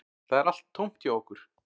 Það er allt tómt hjá okkur